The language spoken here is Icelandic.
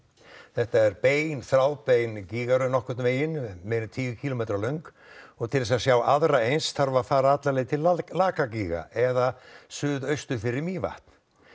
þetta er þráðbein gígaröð nokkurn veginn meira en tíu kílómetra löng til að sjá aðra eins þarf að fara alla leið til laga gíga eða suð austur fyrir Mývatn